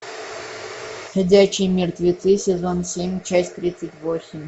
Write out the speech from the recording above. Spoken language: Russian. ходячие мертвецы сезон семь часть тридцать восемь